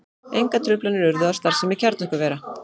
Engar truflanir urðu á starfsemi kjarnorkuvera